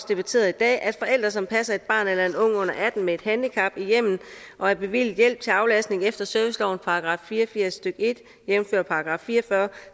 debatteret i dag at forældre som passer et barn eller en ung under atten år med et handicap i hjemmet og er bevilget hjælp til aflastning efter servicelovens § fire og firs stykke en jævnfør § fire og fyrre